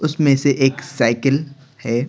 उसमें से एक साइकिल है।